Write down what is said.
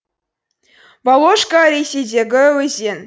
воложка ресейдегі өзен